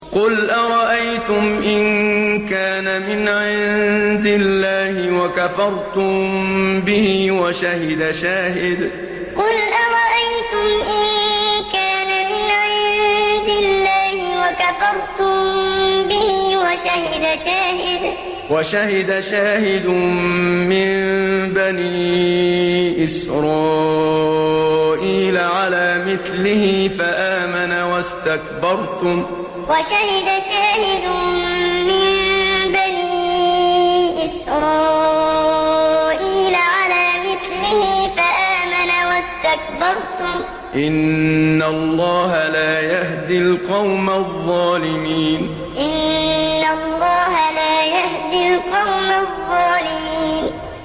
قُلْ أَرَأَيْتُمْ إِن كَانَ مِنْ عِندِ اللَّهِ وَكَفَرْتُم بِهِ وَشَهِدَ شَاهِدٌ مِّن بَنِي إِسْرَائِيلَ عَلَىٰ مِثْلِهِ فَآمَنَ وَاسْتَكْبَرْتُمْ ۖ إِنَّ اللَّهَ لَا يَهْدِي الْقَوْمَ الظَّالِمِينَ قُلْ أَرَأَيْتُمْ إِن كَانَ مِنْ عِندِ اللَّهِ وَكَفَرْتُم بِهِ وَشَهِدَ شَاهِدٌ مِّن بَنِي إِسْرَائِيلَ عَلَىٰ مِثْلِهِ فَآمَنَ وَاسْتَكْبَرْتُمْ ۖ إِنَّ اللَّهَ لَا يَهْدِي الْقَوْمَ الظَّالِمِينَ